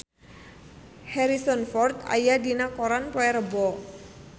Harrison Ford aya dina koran poe Rebo